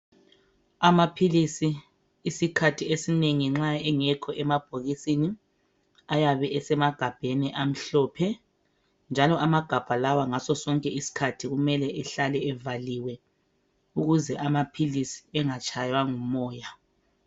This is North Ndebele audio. Amaphilisi isikhathi esinengi nxa engekho emabhokisini ayabe esemagabheni amhlophe njalo amagabha lawa ngaso sonke isikhathi kumele ehlale evaliwe ukuze amaphilisi engatshaywa ngumoya.